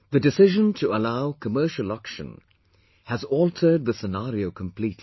The decision to allow commercial auction has altered the scenario completely